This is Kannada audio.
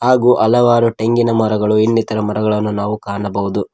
ಹಾಗೂ ಹಲವಾರು ತೆಂಗಿನ ಮರಗಳು ಇನ್ನಿತರ ಮರಗಳನ್ನು ನಾವು ಕಾಣಬಹುದು.